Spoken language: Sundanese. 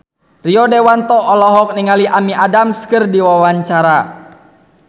Rio Dewanto olohok ningali Amy Adams keur diwawancara